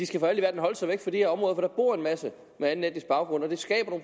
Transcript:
skal holde sig væk fra de her områder for der bor en masse med anden etnisk baggrund og det skaber